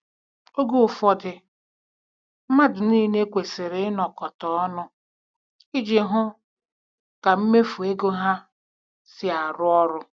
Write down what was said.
Oge ụfọdụ, mmadụ niile kwesịrị ịnọ kọta ọnụ iji hụ ka mmefu ego ha si arụ ọrụ.